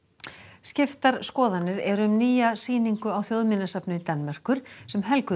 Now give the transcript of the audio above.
skiptar skoðanir eru um nýja sýningu á Danmerkur sem helguð er